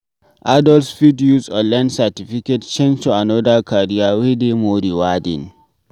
Adults fit use online certificate change to another career wey dey more rewarding